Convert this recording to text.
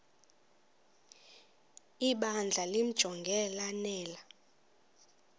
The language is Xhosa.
ibandla limjonge lanele